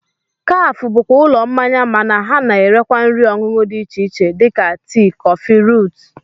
Kafe bụkwa ụlọ mmanya mana ha na-erekwa nri ọṅụṅụ dị iche iche dịka tii, kọfị, ruut